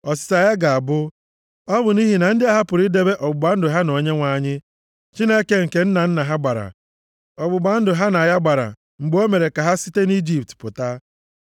Ọsịsa ya ga-abụ, “Ọ bụ nʼihi na ndị a hapụrụ idebe ọgbụgba ndụ ha na Onyenwe anyị, Chineke nke nna nna ha gbara, ọgbụgba ndụ ha na ya gbara mgbe o mere ka ha site nʼIjipt pụta.